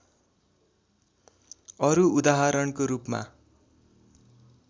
अरू उदाहरणको रूपमा